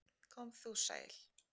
Kom þú sæl!